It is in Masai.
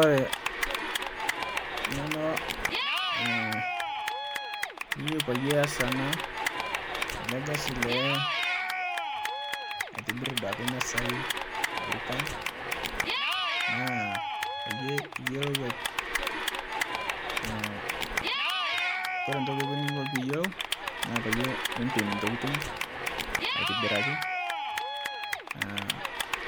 ore eng'eno niyieu pee eyas ele Kasi aitobir emisai loorikan naa peeyie eyiolou ore entoki niyieu naa pee empim ntokitin aitobiraki